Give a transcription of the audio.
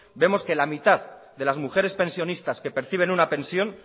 vemos que la mitad de las mujeres pensionistas que perciben una pensión